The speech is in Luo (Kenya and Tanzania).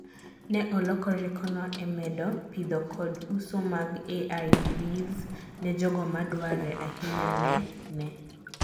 ne oloko riekono e medo pitho kod uso mag AIVs ne jogo madware ahinyane ne